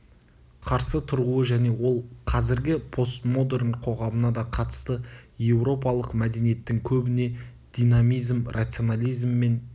қарсы тұруы және ол қазіргі постмодерн қоғамына да қатысты еуропалық мәдениеттің көбіне динамизм рационализм мен